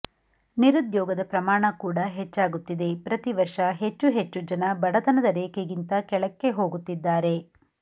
ನಿರುದ್ಯೋಗದ ಪ್ರಮಾಣ ಕೂಡ ಹೆಚ್ಚಾಗುತ್ತಿದೆ ಪ್ರತಿವರ್ಷ ಹೆಚ್ಚು ಹೆಚ್ಚು ಜನ ಬಡತನದ ರೇಖೆಗಿಂತ ಕೆಳಕ್ಕೆ ಹೋಗುತ್ತಿದ್ದಾರೆ